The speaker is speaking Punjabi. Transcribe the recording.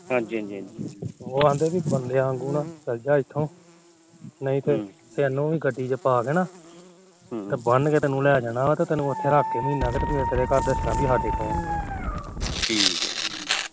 ਉਹ ਆਦੀ ਕ ਬੰਦਿਆਂ ਵਾਗੂ ਚੱਲ ਜਾ ਇਥੋਂ ਨਹੀ ਤੇ ਤੈਨੂੰ ਵੀ ਗੱਡੀ ਚ ਪਾਕੇ ਨਾ ਬੰਨ ਕੇ ਉਥੇ ਲਾ ਜਾਣਾ ਆ ਤੈਨੂੰ ਮਹੀਨਾ ਕ ਉਥੇ ਰੱਖ ਕਿ ਫਿਰ ਘਰ ਦੱਸਣਾ ਵੀ ਸਾਡੇ ਕੋਲ ਏ ਠੀਕ ਏ